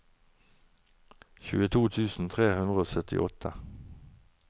tjueto tusen tre hundre og syttiåtte